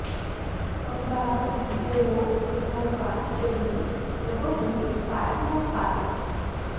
अवगाहत बोहोत नौका चढ़ि कबहुँ पार न पावै